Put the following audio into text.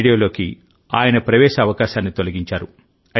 రేడియోలోకి ఆయన ప్రవేశ అవకాశాన్ని తొలగించారు